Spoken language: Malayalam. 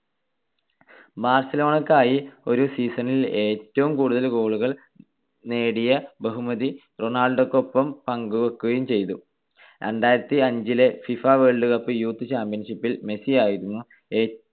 ബാർസലോണക്കായി ഒരു season ൽ ഏറ്റവും കൂടുതൽ goal കൾ നേടിയ ബഹുമതി റൊണാൾഡോക്കൊപ്പം പങ്കുവെക്കുകയും ചെയ്തു. രണ്ടായിരത്തിഅഞ്ചിലെ ഫിഫ വേൾഡ് കപ്പ് യൂത്ത് ചാമ്പ്യൻഷിപ്പിൽ മെസ്സി ആയിരുന്നു ഏ